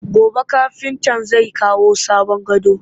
Gobe kafintan zai kawo sabon gadon